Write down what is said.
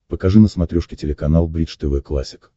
покажи на смотрешке телеканал бридж тв классик